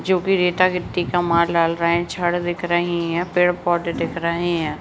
जो भी रेता-रिपती का माल डाल रहे हैं छड़ दिख रही हैं पेड़-पौधे दिख रहे हैं।